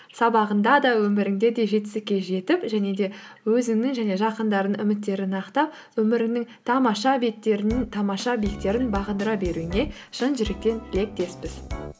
сабағыңда да өміріңде де жетістікке жетіп және де өзіңнің және жақындарыңның үміттерін ақтап өміріңнің тамаша беттерінің тамаша биіктерін бағындыра беруіңе шын жүректен тілектеспіз